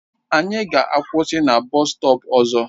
Anyị ga-akwụsị na bọstọp ọzọ.